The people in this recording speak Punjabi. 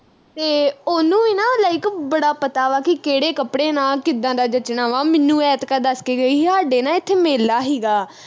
ਤੇ ਉਹਨੂੰ ਵੀ ਨਾ like ਬੜਾ ਪਤਾ ਵਾ ਕਿ ਕਿਹੜੇ ਕੱਪੜੇ ਨਾਲ ਕਿੱਦਾਂ ਦਾ ਜੱਚਣਾ ਵਾ ਮੈਨੂੰ ਐਤਕਾ ਦੱਸ ਕੇ ਗਈ ਹੀ ਹਾਡੇ ਨਾ ਇਥੇ ਮੇਲਾ ਹੀਗਾ